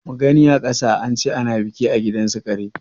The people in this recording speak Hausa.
Mugani a ƙasa, ance ana biki a gidansu kare.